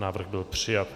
Návrh byl přijat.